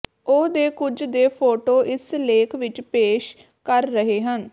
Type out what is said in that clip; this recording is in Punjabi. ਉਹ ਦੇ ਕੁਝ ਦੇ ਫ਼ੋਟੋ ਇਸ ਲੇਖ ਵਿਚ ਪੇਸ਼ ਕਰ ਰਹੇ ਹਨ